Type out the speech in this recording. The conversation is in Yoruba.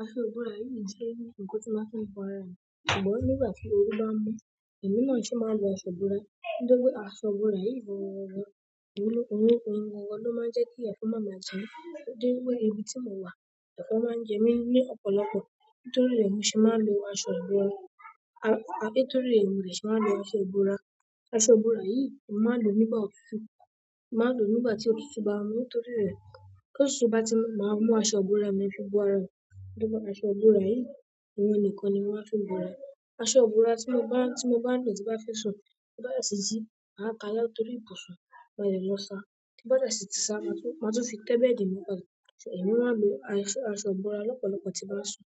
Aṣọ ìbora yìí jẹ́ nǹkan tí màá ń fi bo ara mi. Ṣùgbọ́n nígbà tí oru bá ń mú, èmi náà sì máa ń wọ aṣọ ìbora. Nítorí pé aṣọ ìbora yìí gan, ohun gangan ló máa ń jẹ́ kí ẹ̀fọn má ma jẹ mí. Nítorí pé ibi tí mo wà, ẹ̀fọn máa ń jẹ mí ní ọ̀pọ̀lọpọ̀. Nítorí rẹ̀ ni mo se máa ń lo aṣọ ìbora, a-nítorí rẹ̀ ni mo se máa ń lo aṣọ ìbora. Aṣọ ìbora yìí, mo máa lòó nígbà òtútù. Màá lò nígbà tí òtútù bá ń mú nítorí rẹ̀. Tí òtútù bá ti má ń mú aṣọ ìbora mi ń fi bu ara mi. Nítorí pé aṣọ ìbora yìí, òhun nìkan ni mo máa á fi bo ara. Aṣọ ìbora tí mo bá, tí mo bá lò tí bá fẹ́ sùn, tí bá dẹ̀ ti jí, màá káà láti orí ìbùsùn. So, mo lè lọ sa. Tí bá dẹ̀ sì ti sa, máa tún fi tẹ́ bẹ́ẹ̀dì mi padà. Èmi máa ń lo aṣọ ìbora lọ́pọ̀lọpọ̀ tí bá ń sùn.